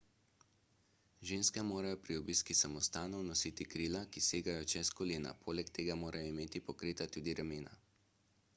ženske morajo pri obisku samostanov nositi krila ki segajo čez kolena poleg tega morajo imeti pokrita tudi ramena